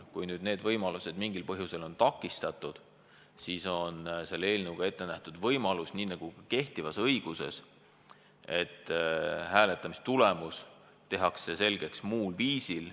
Kui neid võimalusi mingil põhjusel pole, siis on eelnõus ette nähtud võimalus nii nagu kehtivas õiguses, et hääletamistulemus tehakse selgeks muul viisil.